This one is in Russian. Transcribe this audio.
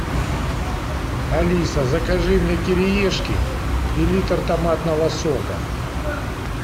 алиса закажи мне кириешки и литр томатного сока